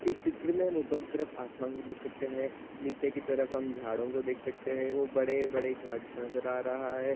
इस चित्र मे हम ऊपर की तरफ आसमान भी देख सकते है नीचे की तरफ हम झाड़ों को देख सकते है वोह बड़े-बड़े झाड़ी स नज़र आ रहा है।